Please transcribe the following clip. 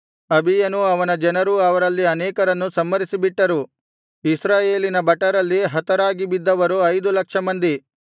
ಅಬೀಯನೂ ಅವನ ಜನರೂ ಅವರಲ್ಲಿ ಅನೇಕರನ್ನು ಸಂಹರಿಸಿಬಿಟ್ಟರು ಇಸ್ರಾಯೇಲಿನ ಭಟರಲ್ಲಿ ಹತರಾಗಿ ಬಿದ್ದವರು ಐದು ಲಕ್ಷ ಮಂದಿ